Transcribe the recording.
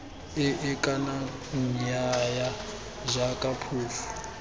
ee kana nnyaya jaaka phofu